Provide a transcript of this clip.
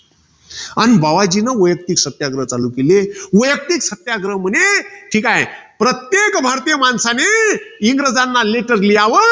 अन बावाजीन वैयक्तिक सत्याग्रह चालू केले. वैयक्तिक सत्याग्रह म्हणे, हि काये? प्रत्येक भारतीय माणसाने, इंग्रजांना letter लिहावं.